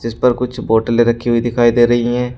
इस पर कुछ बोतले रखी हुई दिखाई दे रही हैं।